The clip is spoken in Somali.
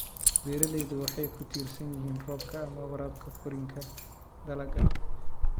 Beeraleydu waxay ku tiirsan yihiin roobka ama waraabka korriinka dalagga.